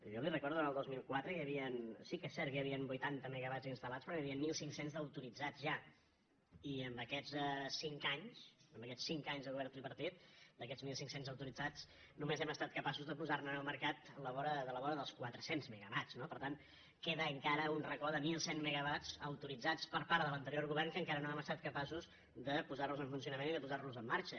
jo li recordo en el dos mil quatre sí que és cert que hi havia vuitanta me·gawatts instal·lats però n’hi havia mil cinc cents d’autoritzats ja i en aquests cinc anys en aquests cinc anys de govern tripartit d’aquests mil cinc cents autoritzats només hem estat capaços de posar·ne en el mercat a la vora dels quatre cents megawatts no per tant queda encara un racó de mil cent megawatts autoritzats per part de l’anterior go·vern que encara no hem estat capaços de posar en fun·cionament i de posar·los en marxa